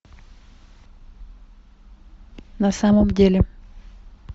на самом деле